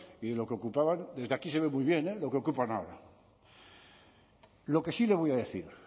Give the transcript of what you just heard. y lo que ocupaban desde aquí se ve muy bien lo que ocupan ahora lo que sí que le voy a decir